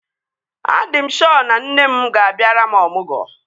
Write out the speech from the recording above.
A dị m shọ na nne m ga-abịara m ọmụgwọ